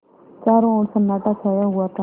चारों ओर सन्नाटा छाया हुआ था